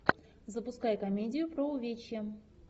запускай комедию про увечья